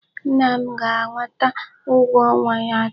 Nna m ga-anata ụgwọ ọnwa ya taa.